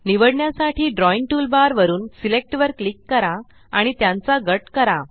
निवडण्यासाठी drawing toolbar वरून select वर क्लिक करा आणि त्यांचा गट करा